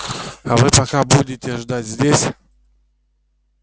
а вы пока будете ждать здесь